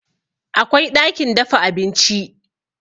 Akwai ɗakin dafa abinci